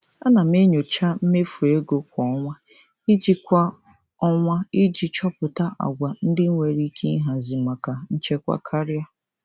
Ana m enyocha mmefu ego kwa ọnwa iji kwa ọnwa iji chọpụta àgwà ndị enwere ike ịhazi maka nchekwa karịa.